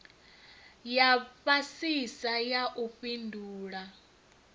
ya fhasisa ya u fhindula